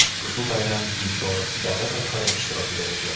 ushbu bayram ilk bor davlat rahbari ishtirokida o‘tyapti.